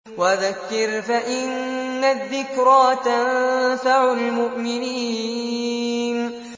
وَذَكِّرْ فَإِنَّ الذِّكْرَىٰ تَنفَعُ الْمُؤْمِنِينَ